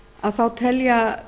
að þá telja